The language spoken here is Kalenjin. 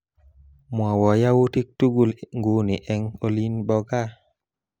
Mwowo yautik tugul nguni eng olin bo kaa